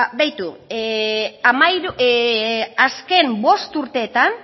ba begiratu azken bost urteetan